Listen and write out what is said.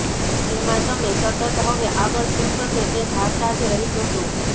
તેમાં તમે સતત હવે આગળ શું થશે તે ધારતા જ રહી જશો